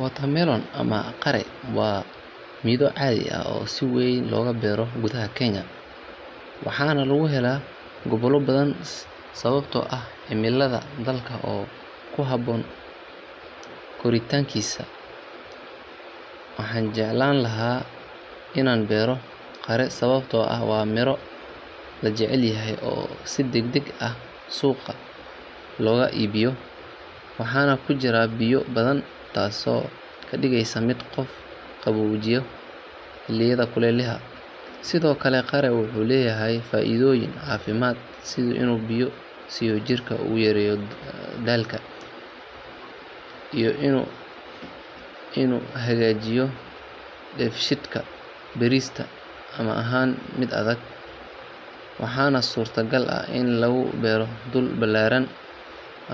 Watermelon ama qare waa midho caadi ah oo si weyn looga beero gudaha Kenya waxaana laga helaa gobollo badan sababtoo ah cimillada dalka oo ku habboon koritaankiisa. Waxaan jeclaan lahaa inaan beero qare sababtoo ah waa miro la jecel yahay oo si degdeg ah suuqa looga iibiyo waxaana ku jira biyo badan taasoo ka dhigaysa mid qofka qaboojiya xilliyada kulaylaha. Sidoo kale qare wuxuu leeyahay faa’iidooyin caafimaad sida inuu biyo siiyo jirka, uu yareeyo daalka, iyo inuu hagaajiyo dheefshiidka. Beeristiisa ma ahan mid adag waxaana suurtagal ah in lagu beero dhul ballaaran